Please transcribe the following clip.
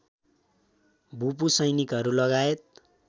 भूपू सैनिकहरू लगायत